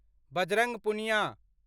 Bajrang Punia